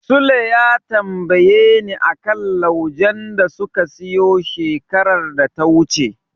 Sule ya tambayeni a kan laujen da suka siyo shekarar da ta wuce.